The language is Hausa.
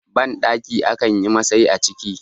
bandaki a kan yi Masai a ciki